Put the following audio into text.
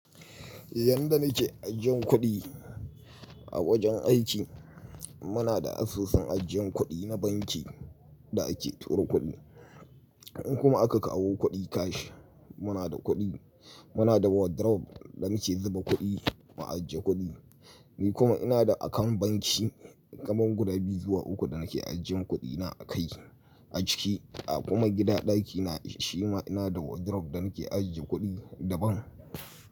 Yanda nake ajjiyan kuɗi a wajen aiki, muna da asusun ajjiyan kuɗi na banki da ake turo kuɗi. In kuma aka kawo kuɗi cash, muna da kuɗi, muna da wardrobe da muke zuba kuɗi ma ajiye kuɗi. Ni kuma ina da account banki kaman guda biyu zuwa uku da nake ajjiye kuɗi na a kai a ciki. A kuma gida ɗakina shima ina da wardrobe da nake ajiye kuɗi daban.